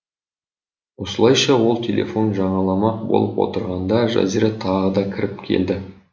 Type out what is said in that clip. осылайша ол телефон жаңаламақ болып отырғанда жазира тағы да кіріп келді